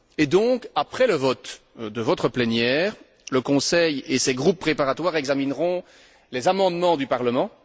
Et donc, après le vote de votre plénière, le Conseil et ses groupes préparatoires examineront les amendements du Parlement.